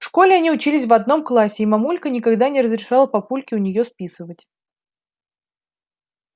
в школе они учились в одном классе и мамулька никогда не разрешала папульке у неё списывать